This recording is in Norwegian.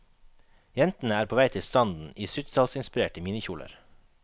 Jentene er på vei til stranden i syttitallsinspirerte minikjoler.